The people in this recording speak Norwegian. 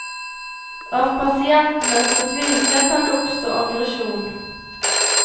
Av pasientenes fortvilelse kan det oppstå aggresjon.